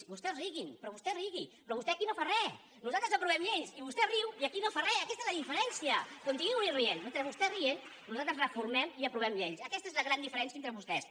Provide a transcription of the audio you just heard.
vostès riguin vostè rigui però vostè aquí no fa res nosaltres aprovem lleis i vostè riu i aquí no fa res i aquesta és la diferència continuï rient mentre vostè va rient nosaltres reformem i aprovem lleis aquesta és la gran diferència entre vostès